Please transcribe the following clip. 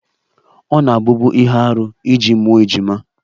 Ọ na-abụbu ihe arụ iji mụọ ejima